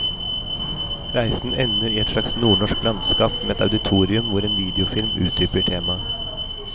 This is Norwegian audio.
Reisen ender i et slags nordnorsk landskap med et auditorium hvor en videofilm utdyper temaet.